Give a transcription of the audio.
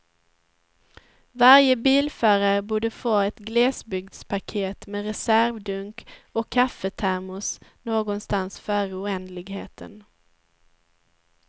Varje bilförare borde få ett glesbygdspaket med reservdunk och kaffetermos någonstans före oändligheten.